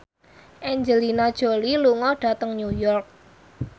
Angelina Jolie lunga dhateng New York